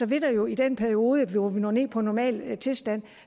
vil der jo i den periode hvor vi når ned på normal tilstand